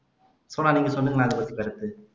சோனா நீங்க சொல்லுங்களேன் அதைபத்தி கருத்து